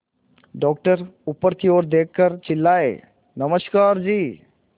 doctor ऊपर की ओर देखकर चिल्लाए नमस्कार जी